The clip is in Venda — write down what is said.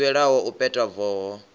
ḽi ḓivhelwaho u peta voho